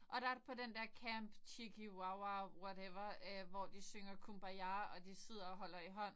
Og der er på den der camp chicky Wow wow whatever øh hvor de synger kumbaya og de sidder og holder i hånd